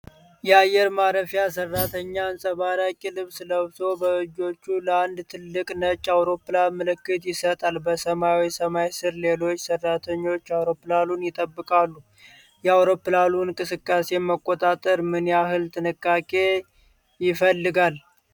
የአየር ማረፊያ ሰራተኛ አንጸባራቂ ልብስ ለብሶ በእጆቹ ለአንድ ትልቅ ነጭ አውሮፕላን ምልክት ይሰጣል። በሰማያዊ ሰማይ ስር፣ ሌሎች ሰራተኞች አውሮፕላኑን ይጠብቃሉ። የአውሮፕላን እንቅስቃሴን መቆጣጠር ምን ያህል ጥንቃቄ ይፈልጋል?